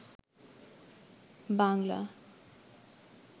Bangla